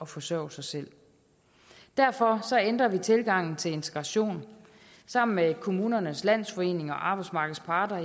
forsørge sig selv derfor ændrer vi tilgangen til integration sammen med kommunernes landsforening og arbejdsmarkedets parter